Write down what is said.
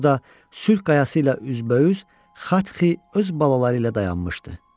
Burada Sülh qayası ilə üzbəüz Xatxi öz balaları ilə dayanmışdı.